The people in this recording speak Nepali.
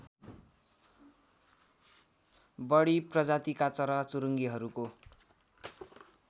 बढी प्रजातिका चराचुरुङ्गीहरूको